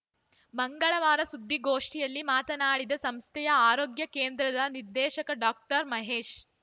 ಮಂಗಳವಾರ ಸುದ್ದಿಗೋಷ್ಠಿಯಲ್ಲಿ ಮಾತನಾಡಿದ ಸಂಸ್ಥೆಯ ಆರೋಗ್ಯ ಕೇಂದ್ರದ ನಿರ್ದೇಶಕ ಡಾಕ್ಟರ್ ಮಹೇಶ್‌